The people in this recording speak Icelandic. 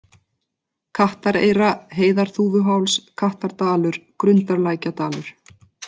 Kattareyra, Heiðarþúfuháls, Kattardalur, Grundarlækjardalur